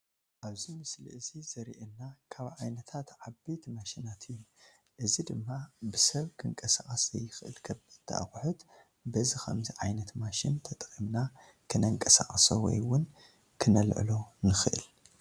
ኣብዚ ምስሊ እዚ ዘሪኤና ካብ ዓይነታት ዓበይቲ ማሽናት እዩ፡፡ እዚ ድማ ብሰብ ክንቀሳቀስ ዘይኽእል ከበድቲ ኣቕሑ በዚ ከምዚ ዓይነት ማሽን ተጠቒምና ክነንቀሳቅሶ ወይ እውን ክነልዕሎ ንኽእል፡፡